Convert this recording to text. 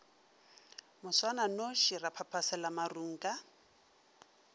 moswananoši ra phaphasela marung ka